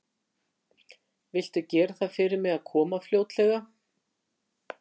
Viltu gera það fyrir mig að koma fljótlega?